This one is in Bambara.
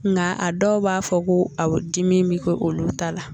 Nka a dɔw b'a fɔ ko a dimi bɛ kɛ olu ta la